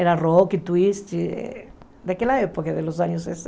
Era rock, twist, daquela época, nos anos